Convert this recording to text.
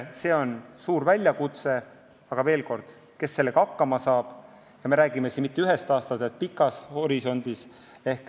See on suur väljakutse, aga me ei räägi mitte ühest aastast, vaid pikast ajahorisondist.